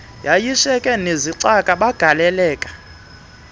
yayishiyeke nezicaka bagaleleka